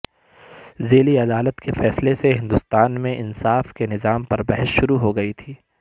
ذیلی عدالت کے فیصلے سے ہندوستان میں انصاف کے نظام پر بحث شروع ہوگئی تھی